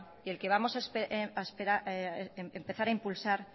y el que vamos a empezar a impulsar